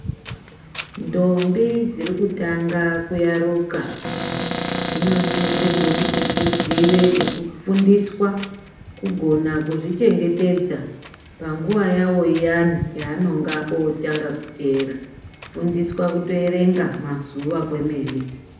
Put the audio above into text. Ndombi dziri kutanga kuyaruka ,dzinosizirwe kuti dzizive nekufundiswa, kugona kuzvichengetedza, panguwa yawo iyani, yaanonga otanga kuteera, kufundiswa kutoerenga mazuwa kwemene.